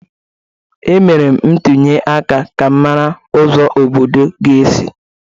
Emere m ntuli aka ka m mara ụzọ obodo ga-esi.